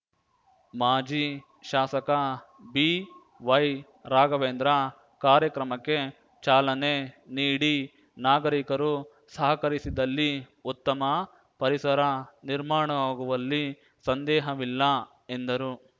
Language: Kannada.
ಮಾಜಿ ಶಾಸಕ ಬಿವೈ ರಾಘವೇಂದ್ರ ಕಾರ್ಯಕ್ರಮಕ್ಕೆ ಚಾಲನೆ ನೀಡಿ ನಾಗರಿಕರು ಸಹಕರಿಸಿದಲ್ಲಿ ಉತ್ತಮ ಪರಿಸರ ನಿರ್ಮಾಣವಾಗುವಲ್ಲಿ ಸಂದೇಹವಿಲ್ಲ ಎಂದರು